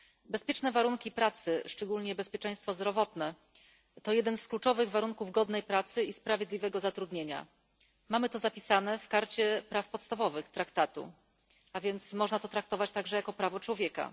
Bezpieczne warunki pracy, szczególnie bezpieczeństwo zdrowotne, to jeden z kluczowych warunków godnej pracy i sprawiedliwego zatrudnienia. Mamy to zapisane w Karcie Praw Podstawowych Traktatu, a więc można to traktować także jako prawo człowieka.